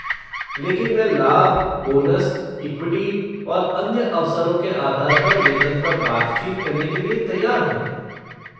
लेकिन मैं लाभ, बोनस, इक्विटी और अन्य अवसरों के आधार पर वेतन पर बातचीत करने के लिए तैयार हूँ।